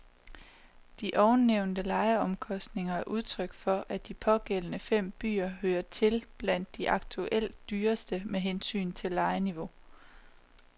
De ovennævnte lejeomkostninger er udtryk for, at de pågældende fem byer hører til blandt de aktuelt dyreste med hensyn til lejeniveau.